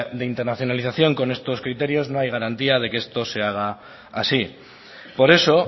de internacionalización con estos criterios no hay garantía de que esto se haga así por eso